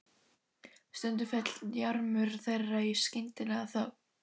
Stundum féll jarmur þeirra í skyndilega þögn.